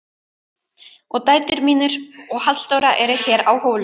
Og dætur mínar og Halldóra eru hér á Hólum.